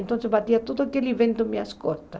Então batia todo aquele vento nas minhas costas.